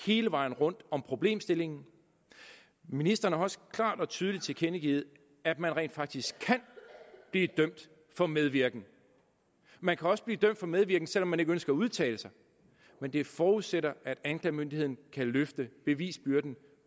hele vejen rundt om problemstillingen ministeren har også klart og tydeligt tilkendegivet at man rent faktisk kan blive dømt for medvirken man kan også blive dømt for medvirken selv om man ikke ønsker at udtale sig men det forudsætter at anklagemyndigheden kan løfte bevisbyrden